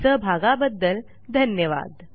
सहभागाबद्दल धन्यवाद